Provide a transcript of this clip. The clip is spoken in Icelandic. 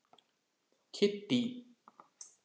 Kiddý